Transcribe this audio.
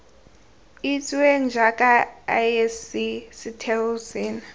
itsiweng jaaka isc setheo seno